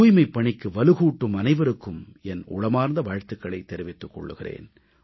தூய்மைப் பணிக்கு வலுகூட்டும் அனைவருக்கும் என் உளமார்ந்த வாழ்த்துக்களைத் தெரிவித்துக் கொள்கிறேன்